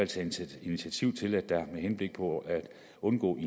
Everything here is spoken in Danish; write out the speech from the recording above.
tage initiativ til at der med henblik på at undgå at